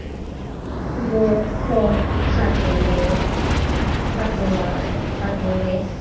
Svo kom kallið.